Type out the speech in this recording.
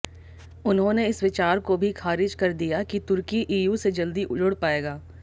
उन्होंने इस विचार को भी खारिज कर दिया कि तुर्की ईयू से जल्दी जुड़ पाएगा